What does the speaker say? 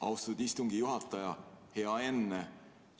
Austatud istungi juhataja!